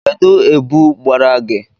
Kedụ ebu gbara gị?